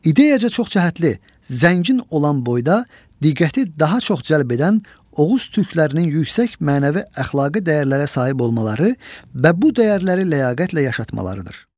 İdeyaca çoxcəhətli, zəngin olan boyda diqqəti daha çox cəlb edən Oğuz Türklərinin yüksək mənəvi-əxlaqi dəyərlərə sahib olmaları və bu dəyərləri ləyaqətlə yaşatmalarıdır.